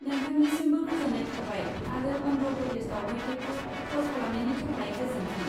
नोंथांनिसिमबो गोजोन्नाय थाबाय आरो अन्ध्र प्रदेश दावबायथायखौ कल खालामनायनि थाखाय गोजोन्थों।